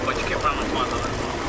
Balqabaqlar çürüyürdü.